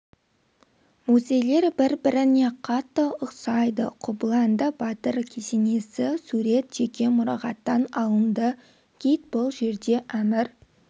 музейлер бір біріне қатты ұқсайды қобыланды батыр кесенесі сурет жеке мұрағаттан алынды гид бұл жерде әмір